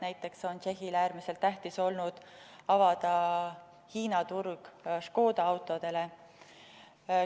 Näiteks on Tšehhile olnud äärmiselt tähtis avada Hiina turg Škoda autodele.